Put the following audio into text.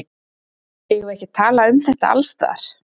Eigum við ekki að tala um þetta alls staðar?